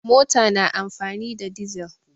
Mota na amfani da dizal.